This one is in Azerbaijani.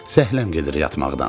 Zəhləm gedir yatmaqdan.